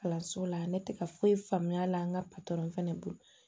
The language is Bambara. Kalanso la ne tɛ ka foyi faamuya a la an ka fana bolo